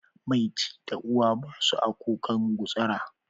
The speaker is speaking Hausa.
Mai ci da uwa ba su a kukan gutsura.